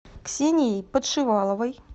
ксенией подшиваловой